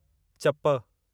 चपु